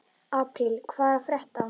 Apríl, hvað er að frétta?